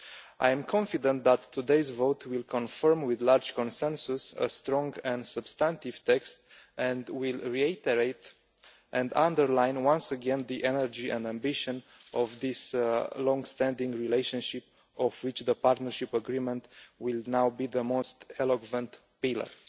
I am confident that today's vote will confirm with a large consensus a strong and substantive text and will reiterate and underline once again the energy and ambition of this longstanding relationship, of which the Partnership Agreement will now be the most eloquent pillar.